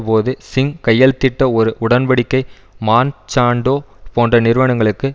போது சிங் கையெழுத்திட்ட ஒரு உடன் படிக்கை மான்சான்டோ போன்ற நிறுவனங்களுக்கு